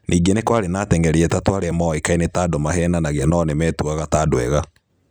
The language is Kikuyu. Ningĩ nĩ kwarĩ na ateng'eri atatũ arĩa moĩkaine ta andũ maveenanagia no nimetũaga ta andu ega.